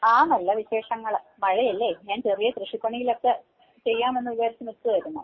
ആഹ് നല്ല വിശേഷങ്ങള് മഴയല്ലേ ഞാൻ ചെറിയ കൃഷി പണികളൊക്കെ ചെയ്യാമെന്ന് വിചാരിച്ച് നിക്കുവായിരുന്നു.